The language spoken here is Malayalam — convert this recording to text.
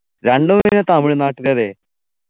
രണ്ടു ഏടയാ തമിഴ്‌നാട്ടിലല്ലേ